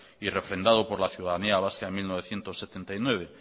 y refrendado por la ciudadanía vasca en mil novecientos setenta y nueve